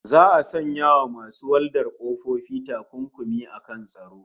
Za'a sanya wa masu waldar ƙofofi takunkumi akan tsaro